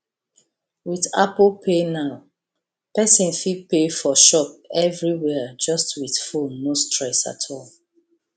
with apple pay now person fit pay for shop everywhere just with phoneno stress at all